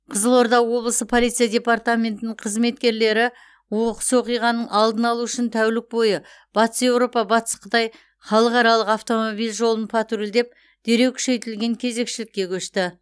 қызылорда облысы полиция департаментінің қызметкерлері оқыс оқиғаның алдын алу үшін тәулік бойы батыс еуропа батыс қытай халықаралық автомобиль жолын патрульдеп дереу күшейтілген кезекшілікке көшті